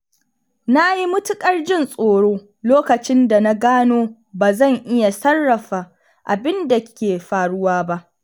Na yi matuƙar jin tsoro lokacin da na gano ba zan iya sarrafa abin da ke faruwa ba.